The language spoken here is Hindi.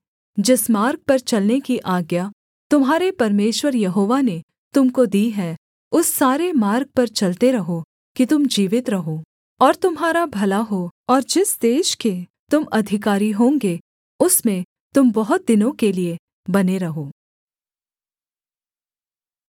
जिस मार्ग पर चलने की आज्ञा तुम्हारे परमेश्वर यहोवा ने तुम को दी है उस सारे मार्ग पर चलते रहो कि तुम जीवित रहो और तुम्हारा भला हो और जिस देश के तुम अधिकारी होंगे उसमें तुम बहुत दिनों के लिये बने रहो